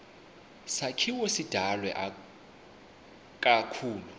sakhiwo sidalwe ikakhulu